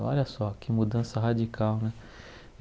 Olha só, que mudança radical, né?